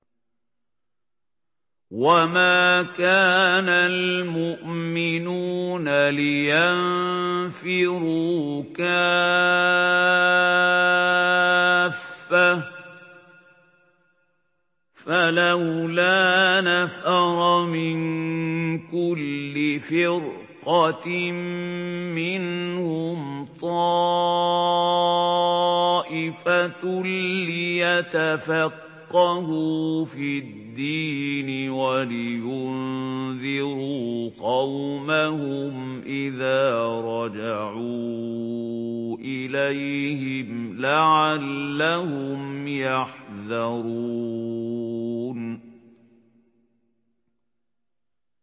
۞ وَمَا كَانَ الْمُؤْمِنُونَ لِيَنفِرُوا كَافَّةً ۚ فَلَوْلَا نَفَرَ مِن كُلِّ فِرْقَةٍ مِّنْهُمْ طَائِفَةٌ لِّيَتَفَقَّهُوا فِي الدِّينِ وَلِيُنذِرُوا قَوْمَهُمْ إِذَا رَجَعُوا إِلَيْهِمْ لَعَلَّهُمْ يَحْذَرُونَ